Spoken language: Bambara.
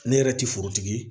Ne yɛrɛ ti forotigi ye